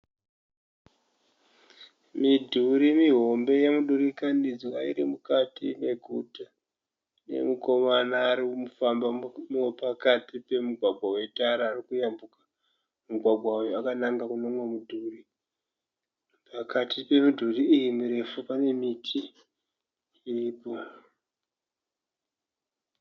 Midhuri mihombe yemudurikanidzwa iri mukati meguta. Pane mukomana ari kufamba pakati pemugwagwa wetara ari kuyambuka. Mugwagwa uyu wakananga kune umwe mudhuri. Pakati pemidhuri iyi mirefu pane miti iripo.